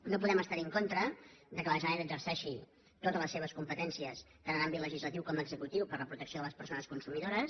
no podem estar en contra que la generalitat exerceixi totes les seves competències tant en àmbit legislatiu com executiu per a la protecció de les persones consumidores